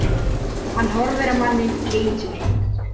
Hann horfir á manninn í ýtunni.